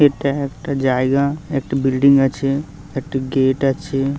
এটা একটা জায়গা। একটা বিল্ডিং আছে একটা গেট আছে।